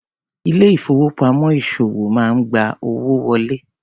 Ilé ìfowópamọ́ ìṣòwò máa ń gba owó wọlé.